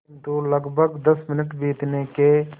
किंतु लगभग दस मिनट बीतने के